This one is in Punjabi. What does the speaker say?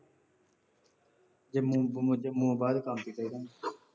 ਜੇ ਮੈਨੂੰ ਕੋਈ ਪੁੱਛੇ, ਮੈਂ ਬਾਹਰ ਕੰਮ ਤੇ ਕਿਹ ਦੂੰ।